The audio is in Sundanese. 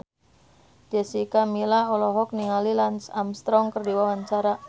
Jessica Milla olohok ningali Lance Armstrong keur diwawancara